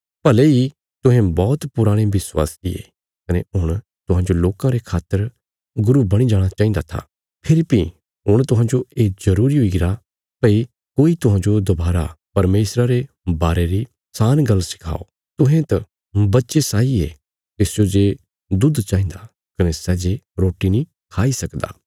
भले इ तुहें बौहत पुराणे विश्वासी ये कने हुण तुहांजो लोकां रे खातर गुरू बणी जाणा चाहिन्दा था फेरी भीं हुण तुहांजो ये जरूरी हुईगरा भई कोई तुहांजो दोबारा परमेशरा रे विषय री सान गल्ल सिखाओ तुहें त बच्चे साई ये तिस्सो जे दुध चाहिन्दा कने सै जे रोटी नीं खाई सकदा